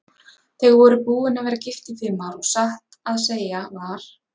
Þau voru búin að vera gift í fimm ár og satt að segja var